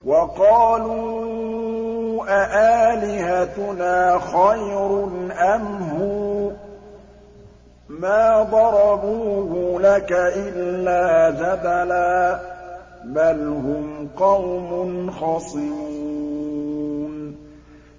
وَقَالُوا أَآلِهَتُنَا خَيْرٌ أَمْ هُوَ ۚ مَا ضَرَبُوهُ لَكَ إِلَّا جَدَلًا ۚ بَلْ هُمْ قَوْمٌ خَصِمُونَ